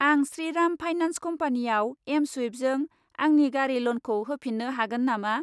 आं श्रीराम फाइनान्स कम्पानियाव एमस्वुइफजों आंनि गारि ल'नखौ होफिन्नो हागोन नामा?